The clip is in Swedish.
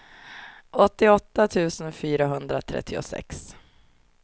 åttioåtta tusen fyrahundratrettiosex